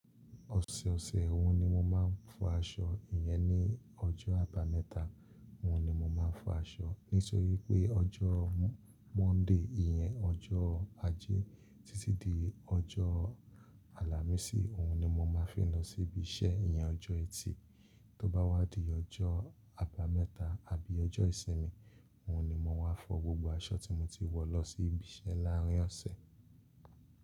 Ọ̀sẹ̀ ọ̀sẹ̀ òun ni mo máa ń fọ aṣọ. Iyẹn ní ọjọ́ àbámẹ́ta òun ni mo máa ń fọ aṣọ. Nítorí pé ọjọ́ Monday iyẹn ọjọ́ ajé títí di ọjọ́ Alámísì, òun ni mo máa fi ń lọ síbi iṣẹ́. Iyẹn ọjọ́ ẹtì. Tó bá wá di ọjọ́ àbámẹ́ta àbí ọjọ́ ìsinmi, òun ni mo maá fọ gbogbo aṣọ tí mo ti wọ̀ lọ sí ibi iṣẹ́ láàárín ọ̀sẹ̀